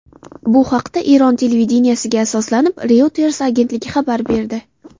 Bu haqda Eron televideniyesiga asoslanib, Reuters agentligi xabar berdi .